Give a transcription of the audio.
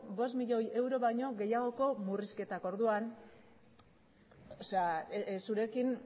bost milioi euro baino gehiagoko murrizketak orduan zurekin